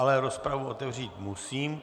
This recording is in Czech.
Ale rozpravu otevřít musím.